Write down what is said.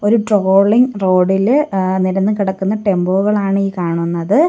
ഒരു trolling road ഇല് ആ നിരന്ന് കിടക്കുന്ന ടെമ്പോകളാണ് ഈ കാണുന്നത്.